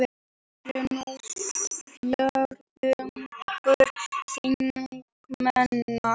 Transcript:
Þær eru nú fjórðungur þingmanna